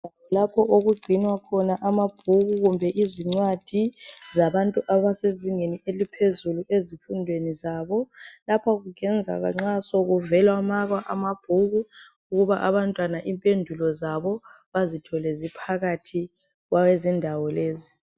Lapho okugcinwa khona amabhuku kumbe izincwadi zabantu abasezingeni eliphezulu ezifundweni lapho kusenzelwa nxa sokuvelwa makwa amabhuku abantwana impendulo zabo bazithole ziphakathi kwezindawo lezi